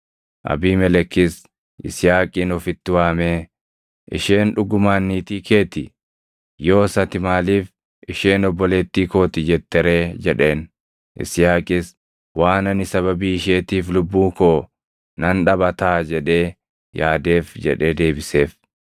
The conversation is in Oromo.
Abiimelekis Yisihaaqin ofitti waamee, “Isheen dhugumaan niitii kee ti! Yoos ati maaliif, ‘Isheen obboleettii koo ti’ jette ree?” jedheen. Yisihaaqis, “Waan ani sababii isheetiif lubbuu koo nan dhaba taʼa jedhee yaadeef” jedhee deebiseef.